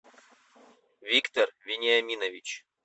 виктор вениаминович